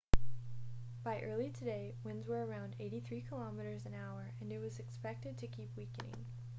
by early today winds were around 83 km/h and it was expect to keep weakening